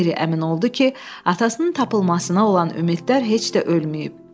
Meri əmin oldu ki, atasının tapılmasına olan ümidlər heç də ölməyib.